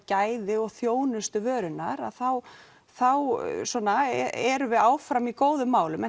gæði og þjónustu vörunnar þá þá erum við áfram í góðum málum en